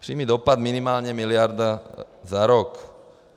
Přímý dopad minimálně miliarda za rok.